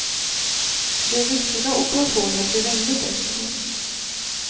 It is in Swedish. Den riktiga operationen blev ännu bättre.